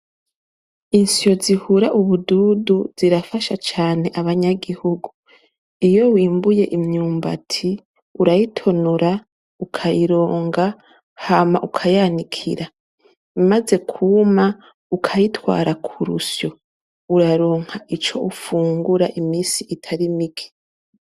Isyo zihura ubududu zirafasha cane abanyagihugu iyo bimbuye imyumbati urayitonora ukayironga hama ukayanikira imaze kuma ukayitwara kurusyo uraronka ico ufungura mu minsi itari mike.